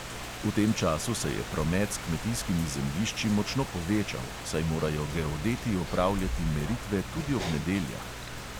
V tem času se je promet s kmetijskimi zemljišči močno povečal, saj morajo geodeti opravljati meritve tudi ob nedeljah.